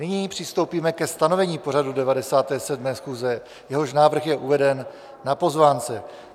Nyní přistoupíme ke stanovení pořadu 97. schůze, jehož návrh je uveden na pozvánce.